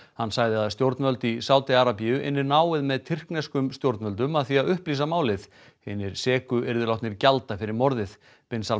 hann sagði að stjórnvöld í Sádi Arabíu ynnu náið með tyrkneskum stjórnvöldum að því að upplýsa málið hinir seku yrðu látnir gjalda fyrir morðið bin